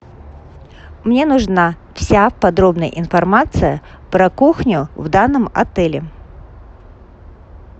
мне нужна вся подробная информация про кухню в данном отеле